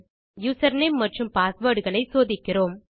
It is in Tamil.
மேலும் யூசர்நேம் மற்றும் பாஸ்வேர்ட் களை சோதிக்கிறோம்